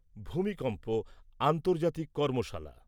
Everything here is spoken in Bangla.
ভূমিকম্প আন্তর্জাতিক কর্মশালা